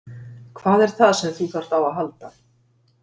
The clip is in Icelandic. Hvað er það sem þú þarft á að halda?